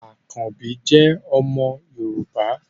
Àkanbí jẹ́ omo Yorùbá